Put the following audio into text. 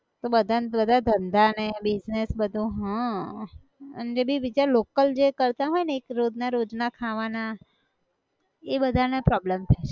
તો બધાન બધાં ધંધા ને business બધો હઃ અને એ બી વિચાર local જે કરતા હોય ને એક રોજના રોજના ખાવાના, એ બધા ને problem થાય છ